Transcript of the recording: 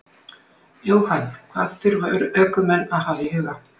Jóhann: Hvað þurfa ökumenn að hafa í huga?